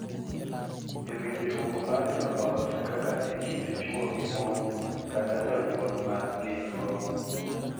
E riwruok mar joot, kaka e kind chwo gi mon kata jonyuol ma gin-go,